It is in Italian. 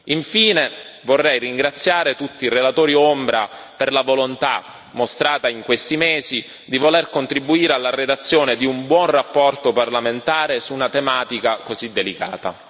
Infine, vorrei ringraziare tutti i relatori ombra per la volontà mostrata in questi mesi di voler contribuire alla redazione di una buona relazione parlamentare su una tematica così delicata.